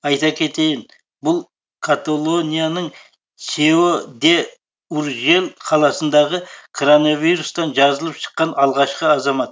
айта кетейін бұл каталонияның сео де уржель қаласындағы кронавирустан жазылып шыққан алғашқы азамат